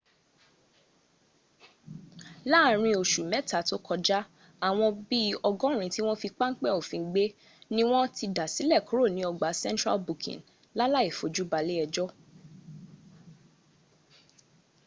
láàrin oṣù mẹ́ta tó kọjá àwọn bí i ọgọ́rin tí wọ́n fi páńpẹ́ òfin gbé ni wọ́n ti dásílẹ̀ kúrò ní ọgbà central booking láláì fojú balé ẹjọ́